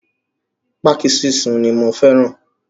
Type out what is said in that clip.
Pákí sísun ni mo fẹ́ràn.